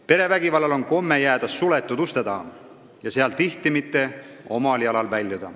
Perevägivald kipub jääma suletud uste taha, tihti see sealt omal jalal ei välju.